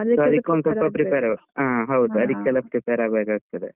ಹಾ ಹೌದು ಅದಿಕ್ಕೆಲ್ಲ prepare ಆಗ್ಬೇಕಾಗ್ತದೆ.